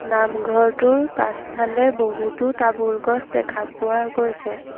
নামঘৰটোৰ পাছফালে বহুতো তামোল গছ দেখা পোৱা গৈছে।